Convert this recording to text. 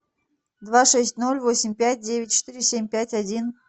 два шесть ноль восемь пять девять четыре семь пять один